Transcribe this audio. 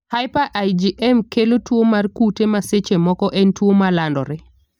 Hyper IgM kelo tuo mar kute ma seche moko en tuo malandore.